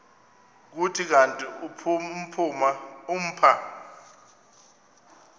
kuthi kanti umpha